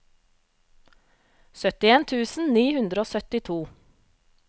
syttien tusen ni hundre og syttito